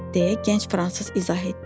deyə gənc fransız izah etdi.